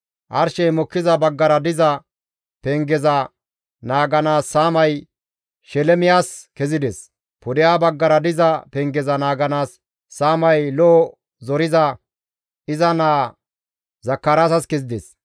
Arshey mokkiza baggara diza pengeza naaganaas saamay Shelemiyas kezides; pudeha baggara diza pengeza naaganaas saamay lo7o zoriza iza naa Zakaraasas kezides.